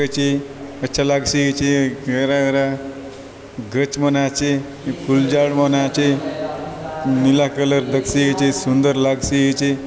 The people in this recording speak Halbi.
एचे अच्छा लाग सी एचे हरा हरा गच मन आचे फूल झाड़ मन आचे नीला कलर दख सी एचे सुदंर लाग सी एचे।